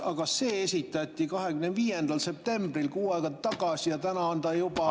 Aga see esitati 25. septembril, kuu aega tagasi, ja täna on ta juba …